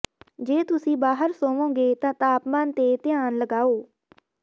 ਜੇ ਤੁਸੀਂ ਬਾਹਰ ਸੌਂਵੋਗੇ ਤਾਂ ਤਾਪਮਾਨ ਤੇ ਧਿਆਨ ਲਗਾਓ